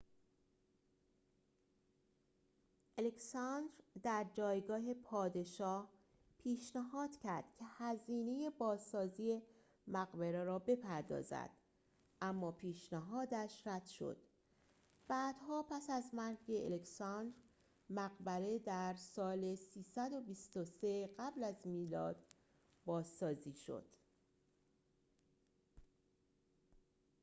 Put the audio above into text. الکساندر در جایگاه پادشاه پیشنهاد کرد که هزینه بازسازی مقبره را بپردازد اما پیشنهادش رد شد بعدها پس از مرگ الکساندر مقبره در سال ۳۲۳ قبل از میلاد بازسازی شد